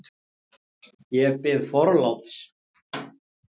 Ég bið forláts!